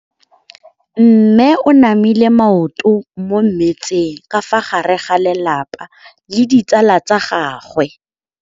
Mme o namile maoto mo mmetseng ka fa gare ga lelapa le ditsala tsa gagwe.